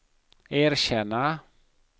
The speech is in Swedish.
erkänna